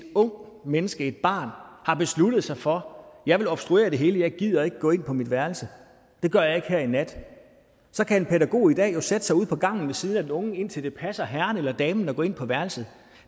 ungt menneske et barn har besluttet sig for at jeg vil obstruere det hele jeg gider ikke gå ind på mit værelse det gør jeg her i nat så kan en pædagog i dag sætte sig ude på gangen ved siden af den unge indtil det passer herren eller damen at gå ind på værelset